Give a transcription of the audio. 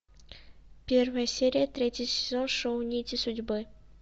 первая серия третий сезон шоу нити судьбы